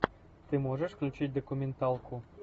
ты можешь включить документалку